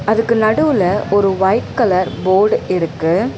அதுக்கு நடுவுல ஒரு வைட் கலர் போடு இருக்கு.